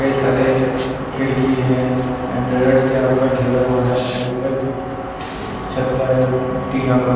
कई सारे खिड़की है एंड्रॉयड से आपका घेरा हुआ है और ऊपर छत्था है टीना का --